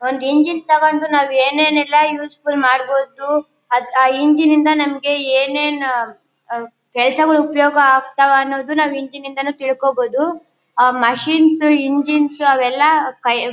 ಒಂದ್ ಇಂಜಿನ್ ತಗೊಂಡು ನಾವ್ ಏನ್ ಏನ್ ಎಲ್ಲಾ ಯೂಸ್ ಫುಲ್ ಮಾಡಬೋದು ಅದ್ ಆ ಇಂಜಿನ್ ಇಂದ ನಮ್ಗ್ ಏನ್ ಏನ್ ಆ ಕೆಲ್ಸಗಳು ಉಪಯೋಗ ಆಗ್ತಾವ ಅನ್ನೋದನ್ನ ನಾವ್ ಇಂಜಿನ್ ಯಿಂದಾನೆ ತಿಳ್ಕೋಬೋದು ಅಹ್ ಮಶಿನ್ಸ್ ಇಂಜಿನ್ಸ್ ಅವೆಲ್ಲಾ --